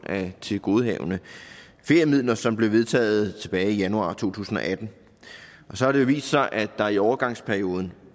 af tilgodehavende feriemidler som blev vedtaget tilbage i januar to tusind og atten og så har det jo vist sig at der i overgangsperioden